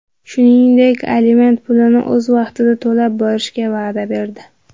Shuningdek, aliment pulini o‘z vaqtida to‘lab borishga va’da berdi.